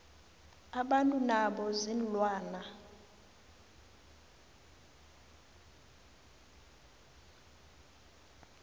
abantu nabo ziinlwana